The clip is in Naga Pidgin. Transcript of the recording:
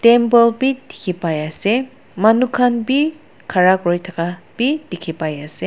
temple bhi dekhi pai ase manu khan bhi khara kori thaka bhi dekhi pai ase.